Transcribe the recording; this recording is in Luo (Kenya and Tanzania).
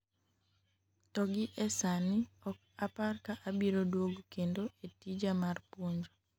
to gi e sani ok apar ka abiro duogo kendo e tija mar puonjo